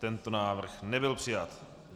Tento návrh nebyl přijat.